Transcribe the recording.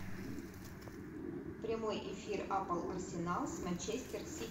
прямой эфир апл арсенал с манчестер сити